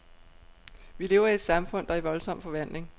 Vi lever i et samfund, der er i voldsom forvandling.